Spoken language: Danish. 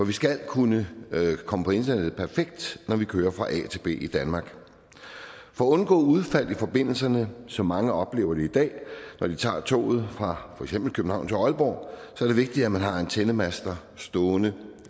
vi skal kunne komme på internettet perfekt når vi kører fra a til b i danmark for at undgå udfald i forbindelsen som mange oplever det i dag når de tager toget fra for eksempel københavn til aalborg er det vigtigt at man har antennemaster stående